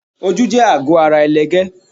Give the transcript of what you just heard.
Ojú jẹ àgọ́ ara ẹlẹgẹ́.